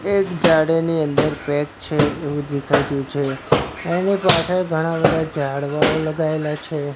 એક ઝાડ એની અંદર પેક છે એવુ દેખાય રહ્યુ છે એની પાછળ ઘણા બધા ઝાડવાઓ લગાઇલા છે.